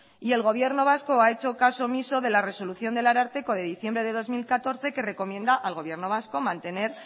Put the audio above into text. y el gobierno vasco ha hecho caso omiso de la resolución del ararteko de diciembre de dos mil catorce que recomienda al gobierno vasco mantener